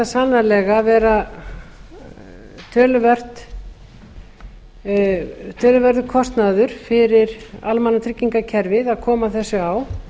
sannarlega ver a töluverður kostnaður fyrir almannatryggingakerfið að koma þessu á